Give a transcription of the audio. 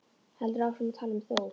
Heldur áfram að tala um Þór: